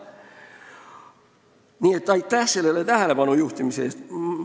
Nii et aitäh sellele tähelepanu juhtimise eest!